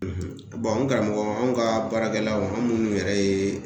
n karamɔgɔ anw ka baarakɛlaw an minnu yɛrɛ ye